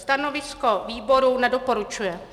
Stanovisko výboru: Nedoporučuje.